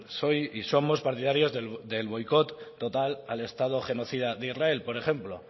soy y somos partidarios del boicot total al estado genocida de israel por ejemplo